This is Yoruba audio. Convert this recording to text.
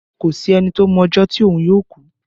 Kò sí ẹni tó mọ ọjọ́ tí òun yóò ku